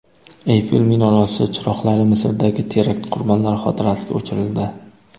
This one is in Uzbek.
Eyfel minorasi chiroqlari Misrdagi terakt qurbonlari xotirasiga o‘chirildi.